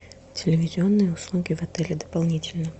телевизионные услуги в отеле дополнительно